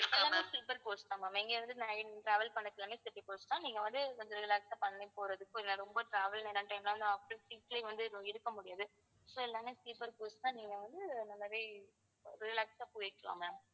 எல்லாமே sleeper coach தான் ma'am இங்கே இருந்து nine travel பண்ணுறது எல்லாமே sleeper coach தான் நீங்க வந்து கொஞ்சம் relaxed ஆ பண்ணி போறதுக்கோ இல்லை ரொம்ப travel after seat லயே வந்து இருக்க முடியாது so எல்லாமே sleeper coach தான் நீங்க வந்து இந்த மாதிரி relaxed ஆ போயிக்கலாம் ma'am